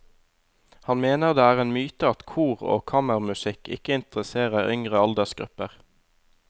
Han mener det er en myte at kor og kammermusikk ikke interesserer yngre aldersgrupper.